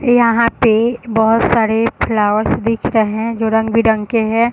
यहाँ पे बहुत सारे फ्लावर्स दिख रहे हैं जो रंग-बिरंग के है।